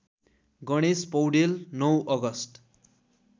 Ganesh Paudel ९ August